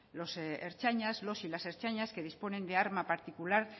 los y las ertzainas que disponen de arma particular